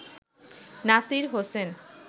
Nasir Hossain